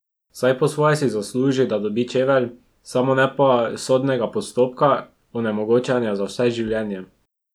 Saj po svoje si zasluži, da dobi čevelj, samo ne pa sodnega postopka, onemogočenja za vse življenje!